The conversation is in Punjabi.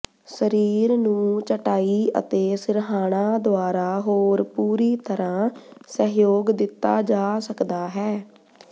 ਸਰੀਰ ਨੂੰ ਚਟਾਈ ਅਤੇ ਸਿਰਹਾਣਾ ਦੁਆਰਾ ਹੋਰ ਪੂਰੀ ਤਰ੍ਹਾਂ ਸਹਿਯੋਗ ਦਿੱਤਾ ਜਾ ਸਕਦਾ ਹੈ